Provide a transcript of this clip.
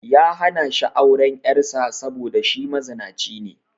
Ya hana shi auren 'yar sa saboda shi mazinaci ne